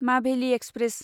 माभेलि express